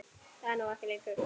Nú er það ekki lengur.